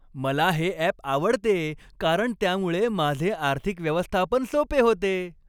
मला हे ॲप आवडते कारण त्यामुळे माझे आर्थिक व्यवस्थापन सोपे होते.